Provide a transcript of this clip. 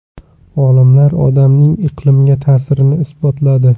Olimlar odamning iqlimga ta’sirini isbotladi.